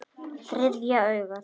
Þriðja augað.